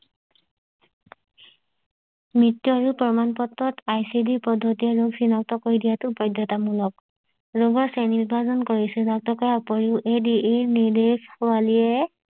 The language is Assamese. মৃত্য আদি প্ৰমাণ পত্ৰত আইচিডি ৰ পদ্বিতিৰ ৰোগ চিনাক্ত কৰি দিয়াটো বায়ধ্যতা মূলক ৰোগীৰ শ্ৰেণী বিভাজন কৰিছে চিনাক্ত কৰাৰ উপৰিও এই দি এই নিৰ্দেশৱালিয়ে